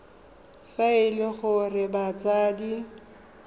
fa e le gore batsadi